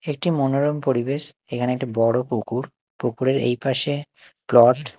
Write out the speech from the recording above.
একটি মনোরম পরিবেশ এখানে একটা বড়ো পুকুর পুকুরের এই পাশে প্লট ।